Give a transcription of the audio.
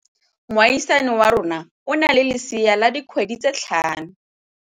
Moagisane wa rona o na le lesea la dikgwedi tse tlhano.